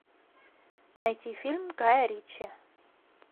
найти фильм гая ричи